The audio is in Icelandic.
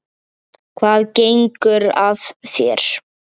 Hvað gengur að þér?